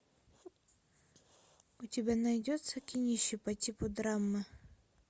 у тебя найдется кинище по типу драмы